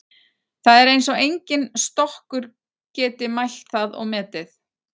Það er eins og enginn stokkur geti mælt það og metið.